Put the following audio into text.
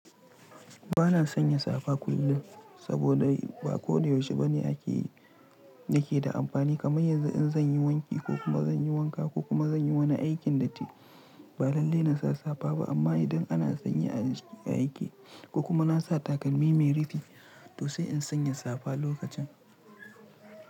Ba na sanya safa kullum saboda ba ko da yaushe ba ne ake yake da amfani. Kamar yanzu in zan yi wanki ko kuma zan yi wanka ko kuma zan yi wani aikin datti, ba lalle na sa safa ba. Amma idan ana sanyi aiki ko kuma na sa takalmi mai rifi, to sai in sanya safa lokacin.